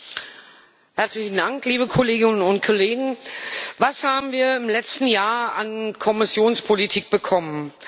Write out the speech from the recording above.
Herr Präsident, liebe Kolleginnen und Kollegen! Was haben wir im letzten Jahr an Kommissionspolitik bekommen?